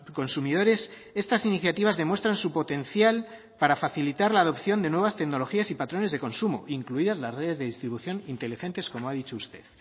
consumidores estas iniciativas demuestran su potencial para facilitar la adopción de nuevas tecnologías y patrones de consumo incluidas las redes de distribución inteligentes como ha dicho usted